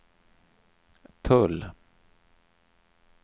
tull